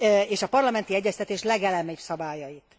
és a parlamenti egyeztetés legelemibb szabályait.